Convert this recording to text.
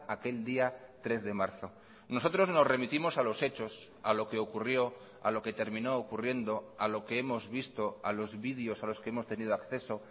aquel día tres de marzo nosotros nos remitimos a los hechos a lo que ocurrió a lo que terminó ocurriendo a lo que hemos visto a los videos a los que hemos tenido acceso